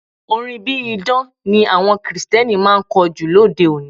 Orin bí idán ni àwọn Kirìtẹ́nì máa ń kọ jù lóde-òní.